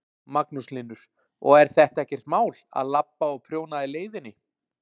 Magnús Hlynur: Og er þetta ekkert mál, að labba og prjóna í leiðinni?